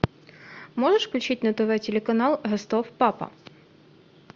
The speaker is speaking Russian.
можешь включить на тв телеканал ростов папа